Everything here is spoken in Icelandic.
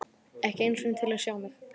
Ekki einu sinni til að sjá mig.